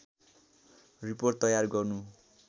report तयार गर्नु